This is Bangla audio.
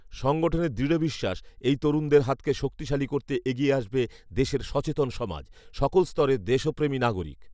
সংগঠনের দৃড় বিশ্বাস এই তরুনদের হাতকে শক্তিশালী করতে এগিয়ে আসবে দেশের সচেতন সমাজ , সকল স্তরের দেশপ্রেমী নাগরিক